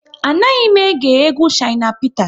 A naghị m ege egwu Shina Peter